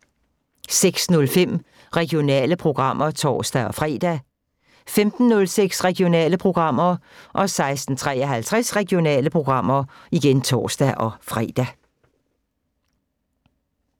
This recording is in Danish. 06:05: Regionale programmer (tor-fre) 15:06: Regionale programmer 16:53: Regionale programmer (tor-fre)